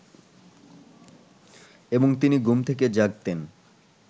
এবং তিনি ঘুম থেকে জাগতেন